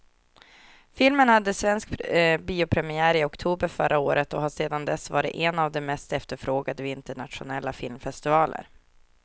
Filmen hade svensk biopremiär i oktober förra året och har sedan dess varit en av de mest efterfrågade vid internationella filmfestivaler.